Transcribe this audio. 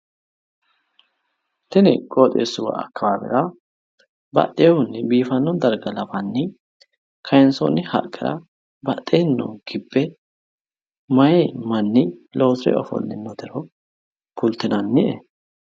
tini qooxesuwa akawaawera baxehunni biifano darga lawanni kayissonni haqqera badheeni noo kibbe mayi maani. loosire ofoolinoro kulitinannie